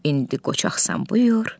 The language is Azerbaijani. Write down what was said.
İndi qoçaqsan buyur.